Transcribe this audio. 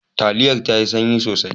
Taliyar ta sanyi sosai.